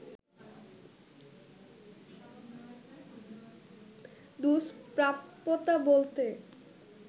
দূস্প্রাপ্যতা বলতে